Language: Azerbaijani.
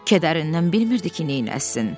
Kədərindən bilmirdi ki, neyləsin.